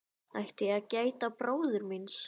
Átti ég að gæta bróður míns?